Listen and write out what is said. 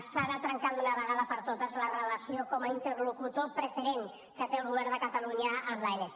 s’ha de trencar d’una vegada per totes la relació com a interlocutor preferent que té el govern de catalunya amb l’anc